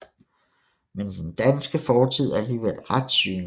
Men den danske fortid er alligevel ret synlig